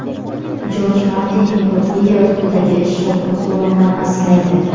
Jorj Martin: Epopeya ustidagi ish shovqin-surondan asraydi.